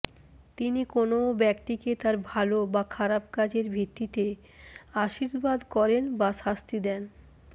তিনি কোনও ব্যক্তিকে তার ভালো বা খারাপ কাজের ভিত্তিতে আশীর্বাদ করেন বা শাস্তি দেন